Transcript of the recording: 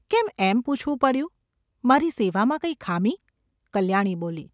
કેમ એમ પૂછવું પડ્યું ? મારી સેવામાં કંઈ ખામી ?’ કલ્યાણી બોલી.